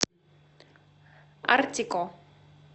артико